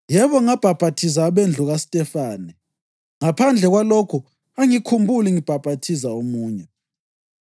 (Yebo ngabhaphathiza abendlu KaStefane, ngaphandle kwalokho angikhumbuli ngibhaphathiza omunye.)